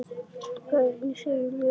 Hvað segja lögin?